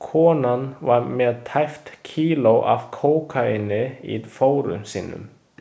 Konan var með tæpt kíló af kókaíni í fórum sínum.